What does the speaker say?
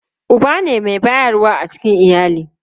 Uba ne mai bayarwa a cikin iyali.